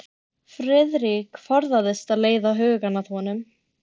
Friðrik forðast að leiða hugann að honum.